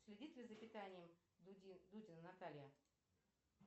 следит ли за питанием дудина наталья